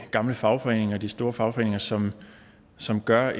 gamle fagforeninger de store fagforeninger som som gør